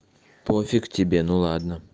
пофиг тебе ну ладно